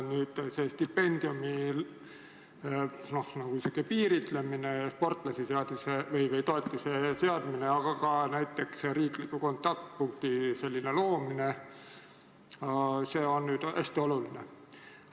Stipendiumi niisugune piiritlemine ja sportlasetoetuse seadmine, aga ka näiteks riikliku kontaktpunkti loomine on hästi oluline.